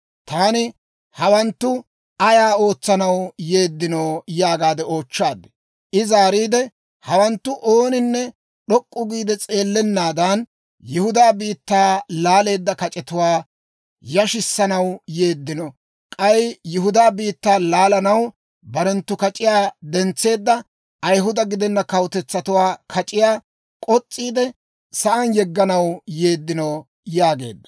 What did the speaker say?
Taani, «Hawanttu ayaa ootsanaw yeeddino?» yaagaade oochchaad. I zaariide, «Hawanttu ooninne d'ok'k'u giide s'eellennaadan, Yihudaa biittaa laaleedda kac'etuwaa yashissanaw yeeddino; k'ay Yihudaa biittaa laalanaw barenttu kac'iyaa dentseedda Ayihuda gidenna kawutetsatuwaa kac'iyaa k'os's'iide, sa'aan yegganaw yeeddino» yaageedda.